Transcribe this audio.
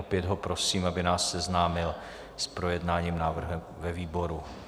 Opět ho prosím, aby nás seznámil s projednáním návrhu ve výboru.